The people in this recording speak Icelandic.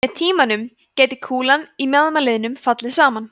með tímanum gæti kúlan í mjaðmarliðnum fallið saman